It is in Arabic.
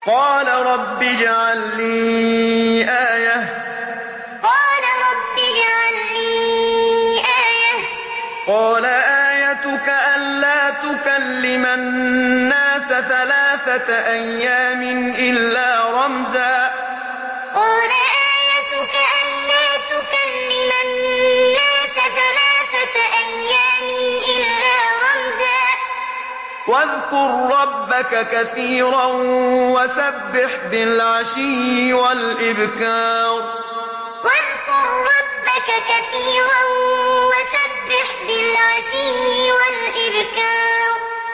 قَالَ رَبِّ اجْعَل لِّي آيَةً ۖ قَالَ آيَتُكَ أَلَّا تُكَلِّمَ النَّاسَ ثَلَاثَةَ أَيَّامٍ إِلَّا رَمْزًا ۗ وَاذْكُر رَّبَّكَ كَثِيرًا وَسَبِّحْ بِالْعَشِيِّ وَالْإِبْكَارِ قَالَ رَبِّ اجْعَل لِّي آيَةً ۖ قَالَ آيَتُكَ أَلَّا تُكَلِّمَ النَّاسَ ثَلَاثَةَ أَيَّامٍ إِلَّا رَمْزًا ۗ وَاذْكُر رَّبَّكَ كَثِيرًا وَسَبِّحْ بِالْعَشِيِّ وَالْإِبْكَارِ